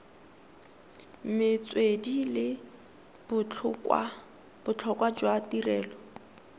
metswedi le botlhokwa jwa tirelo